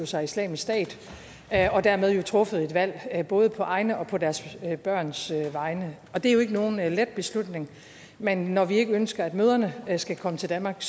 sig islamisk stat og dermed truffet et valg både på egne og på deres børns vegne det er jo ikke nogen let beslutning men når vi ikke ønsker at mødrene skal komme til danmark